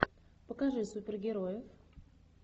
покажи супергерои